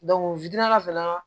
fana